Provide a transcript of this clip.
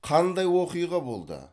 қандай оқиға болды